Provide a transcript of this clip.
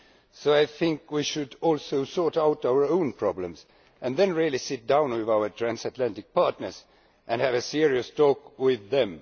So I think we should also sort out our own problems and then really sit down with our transatlantic partners and have a serious talk with them.